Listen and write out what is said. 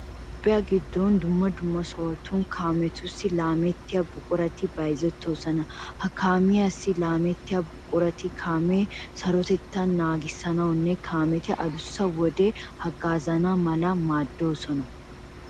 Toophphiya giddon dumma dumma sohotun kaametussi laamettiya buqurati bayzettoosona. Ha kaamiyassi laamettiya buqurati kaamiya sarotettaa naagissiyogan kaameti adussa wodiyassi haggaazana mala maaddoosona.